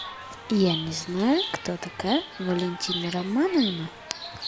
я не знаю кто такая валентина романовна